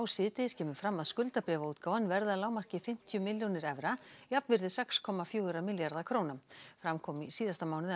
síðdegis kemur fram að skuldabréfaútgáfan verði að lágmarki fimmtíu milljónir evra jafnvirði sex komma fjóra milljarða króna fram kom í síðasta mánuði